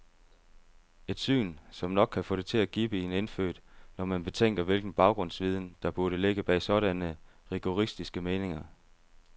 Et syn, som nok kan få det til at gibbe i en indfødt, når man betænker hvilken baggrundsviden, der burde ligge bag sådanne rigoristiske meninger.